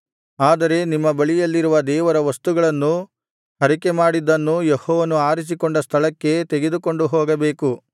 ಆದರೆ ನಿಮ್ಮ ಬಳಿಯಲ್ಲಿರುವ ದೇವರ ವಸ್ತುಗಳನ್ನೂ ಹರಕೆಮಾಡಿದ್ದನ್ನೂ ಯೆಹೋವನು ಆರಿಸಿಕೊಂಡ ಸ್ಥಳಕ್ಕೇ ತೆಗೆದುಕೊಂಡು ಹೋಗಬೇಕು